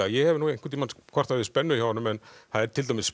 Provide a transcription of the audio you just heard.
ég hef nú einhvern tímann kvartað yfir spennu hjá honum það er til dæmis